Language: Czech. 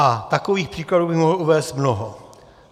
A takových příkladů bych mohl uvést mnoho.